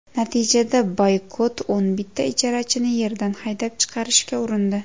Natijada Boykot o‘n bitta ijarachini yerdan haydab chiqarishga urindi.